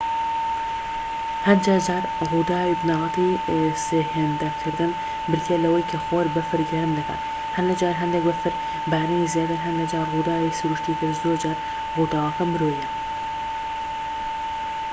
هەندێک جار ڕووداوی بنەڕەتی سێهێندەکردن بریتیە لەوەی کە خۆر بەفر گەرم دەکات هەندێک جار هەندێک بەفر بارینی زیاتر هەندێک جار ڕووداوی سروشتی تر زۆر جار ڕووداوەکە مرۆییە